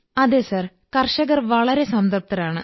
അതെ സർ കർഷകർ വളരെ സംതൃപ്തരാണ്